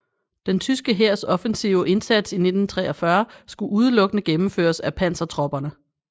Den tyske hærs offensive indsats i 1943 skulle udelukkende gennemføres af pansertropperne